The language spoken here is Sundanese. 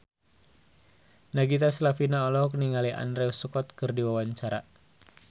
Nagita Slavina olohok ningali Andrew Scott keur diwawancara